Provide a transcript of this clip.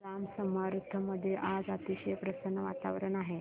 जांब समर्थ मध्ये आज अतिशय प्रसन्न वातावरण आहे